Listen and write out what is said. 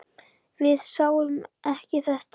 Við sáum ekki þetta!